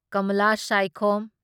Kamala Saikhom